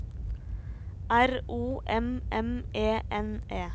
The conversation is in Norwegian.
R O M M E N E